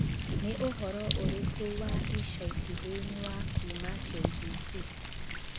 Nĩ ũhoro ũrĩkũ wa ica ikuhĩ ni wa kuuma K.B.C